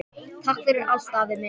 Takk fyrir allt, afi minn.